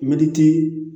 Mɛtiri